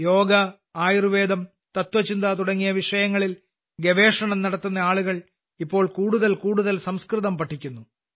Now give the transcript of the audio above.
യോഗ ആയുർവേദം തത്ത്വചിന്ത തുടങ്ങിയ വിഷയങ്ങളിൽ ഗവേഷണം നടത്തുന്ന ആളുകൾ ഇപ്പോൾ കൂടുതൽ കൂടുതൽ സംസ്കൃതം പഠിക്കുന്നു